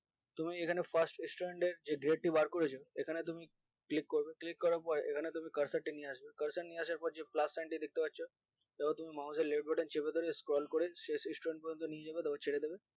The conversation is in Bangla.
তুমি এখানে first student এর যে grade টি বার করেছো এখানে তুমি click করবে click করার পর এখানে তুমি cursor তা নিয়ে আসবে cursor নিয়ে আসার পর যে plus sign টি দেখতে পাচ্ছ এবার তুমি mouse এর left button চেপে ধরে scroll করে শেষ student পর্যন্ত নিয়ে যাবে তারপর ছেড়ে দেবে